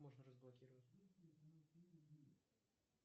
можно разблокировать